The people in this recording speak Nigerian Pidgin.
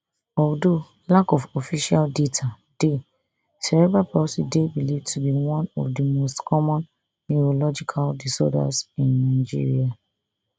although lack of official data dey cerebral palsy dey believed to be one of di most common neurological disorders in nigeria